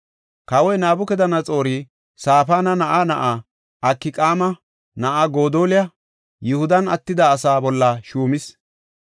Kawoy Nabukadanaxoori Safaana na7aa na7aa, Akqaama na7aa Godoliya Yihudan attida asaa bolla shuumis.